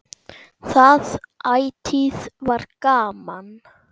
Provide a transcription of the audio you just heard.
Það ætíð var gaman.